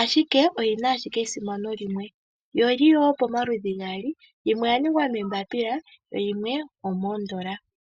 ashike esimano lyayo limwe alike. Iimaliwa oyili pamaludhi gaali opuna yomafo naambyoka iikukutu.